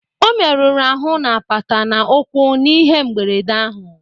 O meruru ahụ n'apata na ukwu n'ihe mgberede ahụ